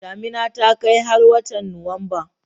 Damina ta kai har watan Nuwamba